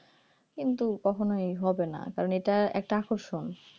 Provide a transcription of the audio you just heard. কিন্তু কখনই হবে না কারণ এটার একটা আকর্ষণ